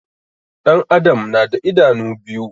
Ɗan adam na da idanu biyu